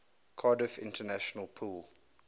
cardiff international pool